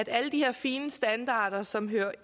alle de her fine standarder som hører